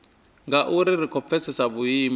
nga ri khou pfesesa vhuimo